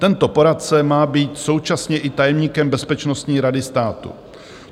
Tento poradce má být současně i tajemníkem bezpečnostní rady státu.